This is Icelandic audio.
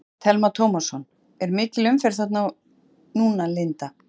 Telma Tómasson: Er mikil umferð þarna núna Linda?